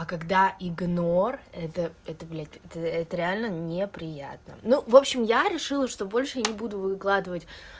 а когда игнор это это блять это реально неприятно ну в общем я решила что больше не буду выкладывать